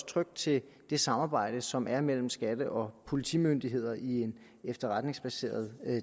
trygt til det samarbejde som er mellem skatte og politimyndigheder i en efterretningsbaseret